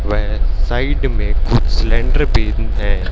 व साइड में कुछ सिलेंडर भी हैं।